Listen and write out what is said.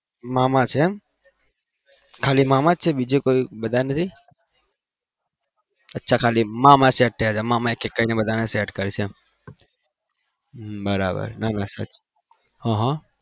મામા છે ખાલી મામા છે બીજું કોઈ નથી અચ્છા મામા set થયા છે મામા બધાને એક એક કરીને બધા ને set કરશે